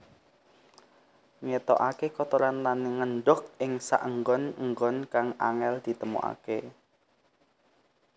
Ngetokaké kotoran lan ngendhog ing saenggon enggon kang angél ditemokaké